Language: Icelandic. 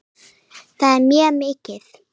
Það er mjög mikið.